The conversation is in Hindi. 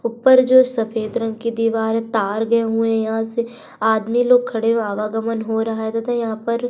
ऊपर जो सफेद रंग की दीवार है। तार गए हुए हैं यहां से। आदमी लोग खड़े हैं। आवागमन हो रहा है तथा यहां पर --